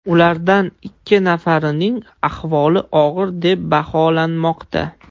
Ulardan ikki nafarining ahvoli og‘ir deb baholanmoqda.